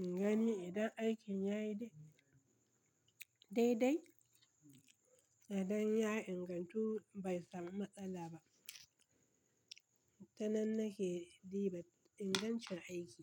ingani idan aikin yayi dai-dai, idan ya ingantu bai samu matsala ba. Tanan nake diba ingancin aiki.